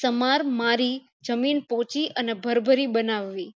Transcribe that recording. summer મારી જમીન પોચી અને ભરભરી બનાવી